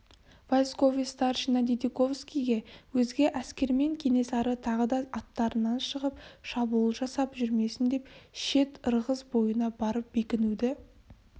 войсковой старшина дидиковскийге өзге әскермен кенесары тағы да арттарынан шығып шабуыл жасап жүрмесін деп шет-ырғыз бойына барып бекінуді